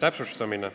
täpsustamine.